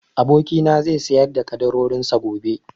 Abokina na zai sayar da ƙaddarorin sa gobe